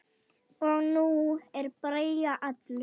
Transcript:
Og nú er Bragi allur.